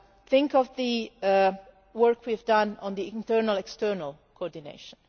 Think of the work we have done on the internal-external coordination.